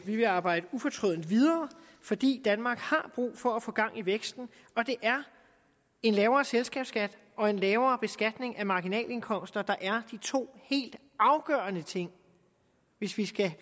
vil arbejde ufortrødent videre fordi danmark har brug for at få gang i væksten og det er en lavere selskabsskat og en lavere beskatning af marginalindkomster der er de to helt afgørende ting hvis vi skal